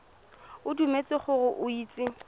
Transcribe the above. o dumetse gore o itse